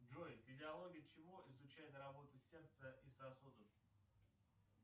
джой физиология чего изучает работу сердца и сосудов